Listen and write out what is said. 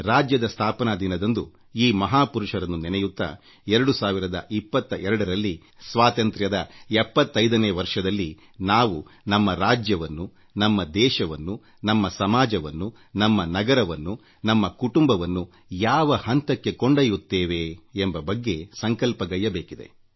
ರಾಜ್ಯದ ಸ್ಥಾಪನಾ ದಿನದಂದು ಈ ಮಹಾಪುರುಷರನ್ನು ನೆನೆಯುತ್ತಾ 2022 ರಲ್ಲಿ ಸ್ವಾತಂತ್ರ್ಯದ 75ನೇ ವರ್ಷದಲ್ಲಿ ನಾವು ನಮ್ಮ ರಾಜ್ಯವನ್ನು ನಮ್ಮ ದೇಶವನ್ನು ನಮ್ಮ ಸಮಾಜವನ್ನು ನಮ್ಮ ನಗರವನ್ನು ನಮ್ಮ ಕುಟುಂಬವನ್ನು ಯಾವ ಹಂತಕ್ಕೆ ಕೊಂಡೊಯ್ಯುತ್ತೇವೆ ಎಂಬ ಬಗ್ಗೆ ಸಂಕಲ್ಪ ಮಾಡಬೇಕಾಗಿದೆ